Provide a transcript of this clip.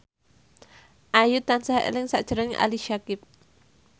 Ayu tansah eling sakjroning Ali Syakieb